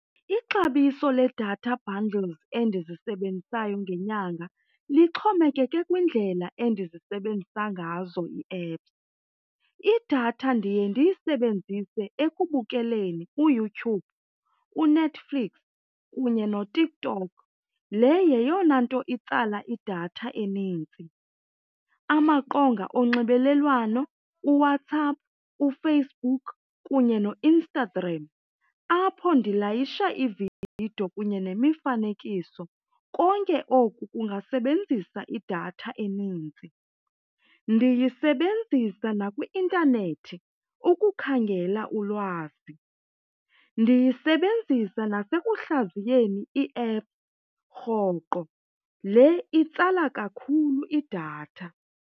Ixabiso ledatha bundles endizisebenzisayo ngenyanga lixhomekeke kwindlela endizisebenzisayo ngazo ii-apps. Idatha ndiye ndiyisebenzise ekubukeleni uYouTube, uNetflix kunye noTikTok, le yeyona nto itsala idatha enintsi. Amaqonga onxibelelwano, uWhatsApp, uFacebook, kunye noInstagram apho ndilayisha iividiyo kunye nemifanekiso, konke oku kungasebenzisa idatha eninzi. Ndiyisebenzisa nakwi-intanethi ukukhangela ulwazi, ndiyisebenzisa nasekuhlaziyeni ii-apps rhoqo, le itsala kakhulu idatha.